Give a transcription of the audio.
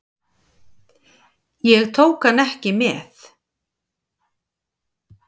Ég tók hann ekki með.